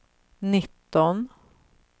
nitton